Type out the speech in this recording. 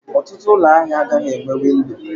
Ọtụtụ ụlọ ahịa agaghị enweghị windo.